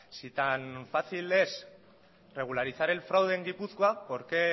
si tan fácil es regularizar el fraude en gipuzkoa por qué